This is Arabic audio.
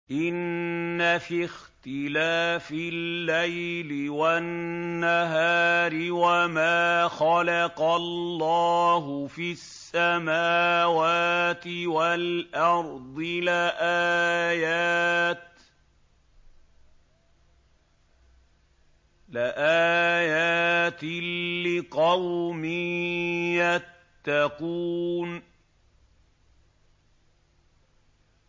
إِنَّ فِي اخْتِلَافِ اللَّيْلِ وَالنَّهَارِ وَمَا خَلَقَ اللَّهُ فِي السَّمَاوَاتِ وَالْأَرْضِ لَآيَاتٍ لِّقَوْمٍ يَتَّقُونَ